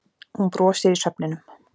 Hún brosir í svefninum.